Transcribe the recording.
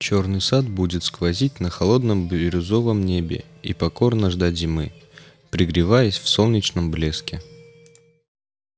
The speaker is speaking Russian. чёрный сад будет сквозить на холодном бирюзовом небе и покорно ждать зимы пригреваясь в солнечном блеске